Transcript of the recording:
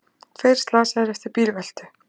Tveir slasaðir eftir bílveltu